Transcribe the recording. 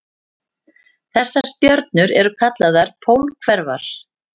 Þessar stjörnur eru kallaðar pólhverfar.